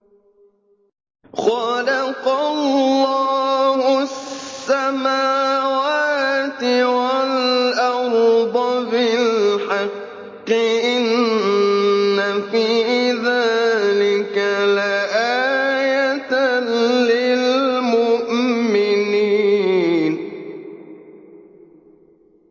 خَلَقَ اللَّهُ السَّمَاوَاتِ وَالْأَرْضَ بِالْحَقِّ ۚ إِنَّ فِي ذَٰلِكَ لَآيَةً لِّلْمُؤْمِنِينَ